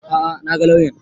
A'a na ga lauyan